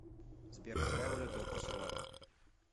сбер какая валюта у косоваров